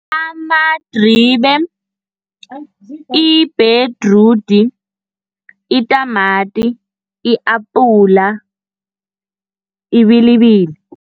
Amadribe, ibhedrudi, itamati, i-apula, ibilibili.